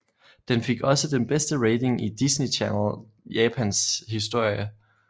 Den fik også den bedste rating i Disney Channel Japans historie